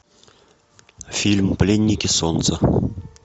фильм пленники солнца